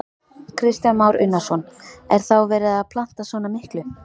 Kristján Már Unnarsson: Er þá verið að planta svona miklu?